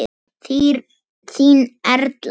Þín Erla.